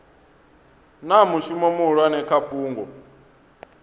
na mushumo muhulwane kha fhungo